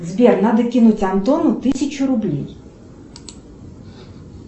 сбер надо кинуть антону тысячу рублей